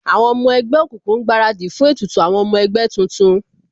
Àwọn ọmọ ẹgbẹ́ òkùnkùn ń gbaradì fún ètùtù àwọn ọmọ ẹgbẹ́ tuntun